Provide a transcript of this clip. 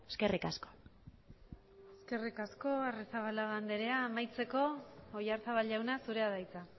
eskerrik asko eskerrik asko arrizabalaga andrea amaitzeko oyarzabal jauna zurea da hitza